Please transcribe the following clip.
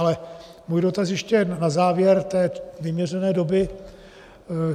Ale můj dotaz ještě na závěr té vyměřené doby.